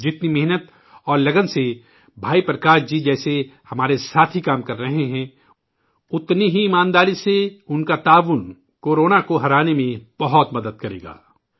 جتنی محنت اور لگن سے بھائی پرکاش جی جیسے ہمارے ساتھی کام کر رہے ہیں، اتنی ہی ایمانداری سے ان کا تعاون ، کو رونا کو ہرانے میں بہت مدد کرے گا